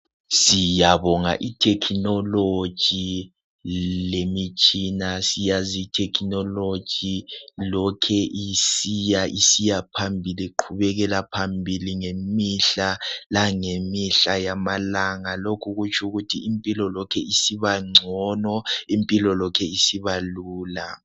Siyabonga ithekhinoloji lemitshina. Siyazi ithekhinoloji lokhe isiya isiya phambili iqhubekela phambili ngemihla langemihla yamalanga. Lokhu kutsho ukuthi impilo Lokhe isiba ngcono impilo lokhe isiba lula.